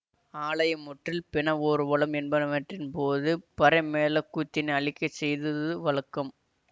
ஆலய முற்றில் பிண ஊர்வலம் என்பனவற்றின் போதும் பறைமேள கூத்தின் அளிக்கை செய்தது வழக்கம்